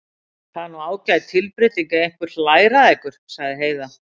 Það er nú ágæt tilbreyting ef einhver hlær að ykkur, sagði Heiða.